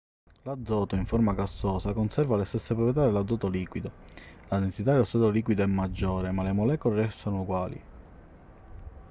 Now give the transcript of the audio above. l'azoto in forma gassosa conserva le stesse proprietà dell'azoto liquido la densità dello stato liquido è maggiore ma le molecole restano uguali